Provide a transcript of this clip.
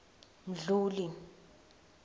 mdluli